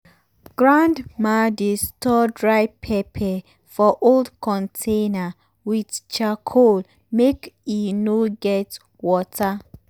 grandma dey store dry pepper for old container with charcoal make e no get water